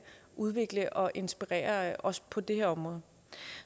udvikle og inspirere os på det her område